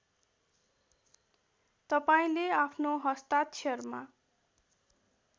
तपाईँले आफ्नो हस्ताक्षरमा